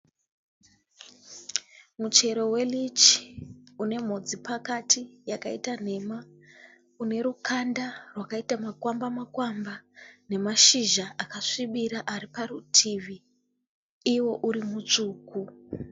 Muchero we leach une mhodzi pakati yakaita nhema. Unerukanda rwakaita makwamba makwamba. Nemashizha akasvibira ariparutivi iwo uri mutsvuku.